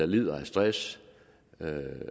lider af stress